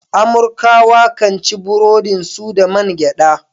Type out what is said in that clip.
Amurkawa kan ci burodin su da man gyada.